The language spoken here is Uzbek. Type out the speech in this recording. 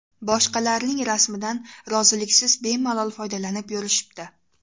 Boshqalarning rasmidan roziliksiz bemalol foydalanib yurishibdi.